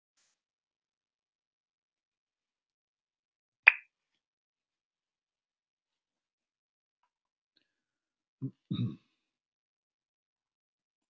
Nú á dögum er sauðfé einnig merkt í eyru með plast- eða málmplötum.